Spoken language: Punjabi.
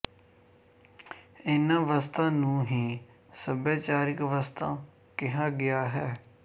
ਇਹਨਾਂ ਵਸਤਾਂ ਨੂੰ ਹੀ ਸੱਭਿਆਚਾਰਿਕ ਵਸਤਾਂ ਕਿਹਾ ਗਿਆ ਹੈ